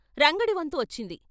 రంగడి వంతు వచ్చింది.